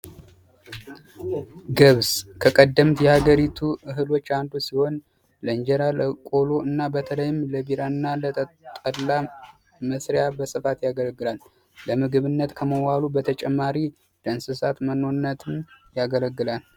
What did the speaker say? ገብስ ከቀደምት የሀገሪቱ እህሎች አንዱ ሲሆን ለእንጀራ ፣ለቆሎ ፣በተለይም ለቢራ መጠጥ ፣ጠላ መስሪያ በስፋት ያገለግላል። ከምግብነት በተጨማሪ ለእንስሳት መኖነት ያገለግላል።